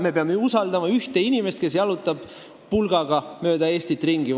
Me peame usaldama ühte inimest, kes jalutab valimisõhtul pulgaga mööda Eestit ringi.